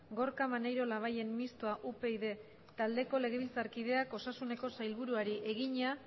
gorka maneiro labayen mistoa upyd taldeko legebiltzarkideak osasuneko sailburuari egina